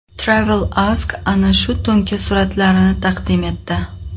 TravelAsk ana shu to‘nka suratlarini taqdim etdi .